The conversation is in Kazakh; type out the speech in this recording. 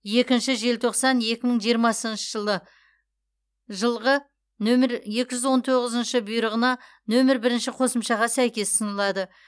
екінші желтоқсан екі мың жиырмасыншы жылы жылғы нөмірі екі жүз он тоғызыншы бұйрығына нөмірі бірінші қосымшаға сәйкес ұсынылады